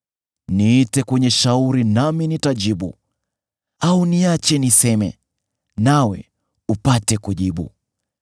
Niite kwenye shauri nami nitajibu, au niache niseme, nawe upate kujibu.